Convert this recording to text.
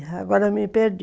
E agora me perdi.